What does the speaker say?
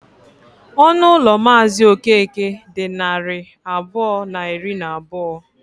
Ọnụ ụlọ Mazị Okeke dị narị abụọ na iri na abụọ.